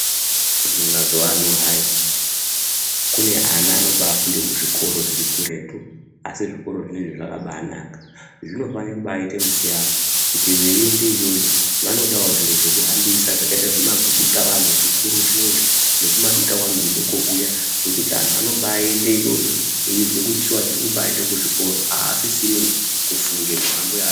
Mazuwa ano hayi kune ana vanobaafunde kuzvikora zviri kuretu asi zvikora zvinezvi zvakabaanaka. Zvinofanire kubaaite musiyano kuti veiende iyoyo vanodawo zviro zvekuhambisa zvakaite sezvimadutavanhu zvikuru zvinezvi nehumadutavanhu hudoko huya hwekuti antu anombaaende iyoyo vanombaanase kuziya kuti tirikuende kuchikora aasisina kufunge nhamo